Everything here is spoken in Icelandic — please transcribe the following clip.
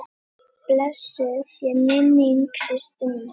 Blessuð sé minning systur minnar.